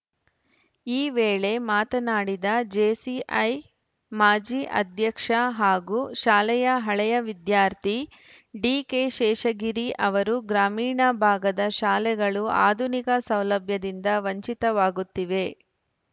ಈ ವೇಳೆ ಮಾತನಾಡಿದ ಜೆಸಿಐ ಮಾಜಿ ಅಧ್ಯಕ್ಷ ಹಾಗೂ ಶಾಲೆಯ ಹಳೆಯ ವಿದ್ಯಾರ್ಥಿ ಡಿಕೆಶೇಷಗಿರಿ ಅವರು ಗ್ರಾಮೀಣ ಭಾಗದ ಶಾಲೆಗಳು ಆಧುನಿಕ ಸೌಲಭ್ಯದಿಂದ ವಂಚಿತವಾಗುತ್ತಿವೆ